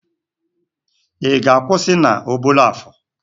Ị ga-akwụsị na Obollo-Afor?